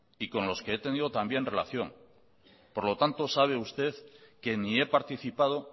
y con los que he tenido también relación por lo tanto sabe usted que ni he participado